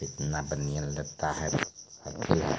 कितना बनिया लगता है।